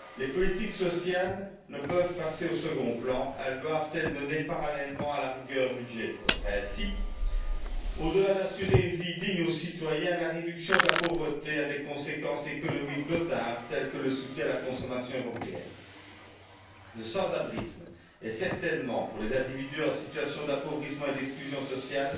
Les politiques sociales ne peuvent passer au second plan elles doivent être menées parallèlement à la rigueur budgétaire. Ainsi, en plus d'assurer une vie digne aux citoyens, la réduction de la pauvreté a des conséquences économiques notables, telles que le soutien à la consommation européenne. Le sans abrisme en est, certainement, pour les individus en situation d'appauvrissement et d'exclusion sociale,